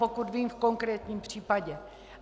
Pokud vím v konkrétním případě.